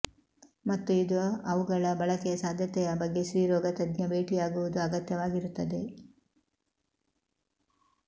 ಮತ್ತು ಇದು ಅವುಗಳ ಬಳಕೆಯ ಸಾಧ್ಯತೆಯ ಬಗ್ಗೆ ಸ್ತ್ರೀರೋಗತಜ್ಞ ಭೇಟಿಯಾಗುವುದು ಅಗತ್ಯವಾಗಿರುತ್ತದೆ